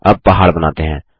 अब पहाड़ बनाते हैं